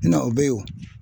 o be yen